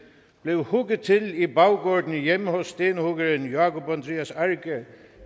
blev hugget til i baggården hjemme hos stenhuggeren jákup andrias arge